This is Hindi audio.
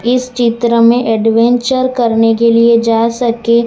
इस चित्र में एडवेंचर करने के लिए जा सके--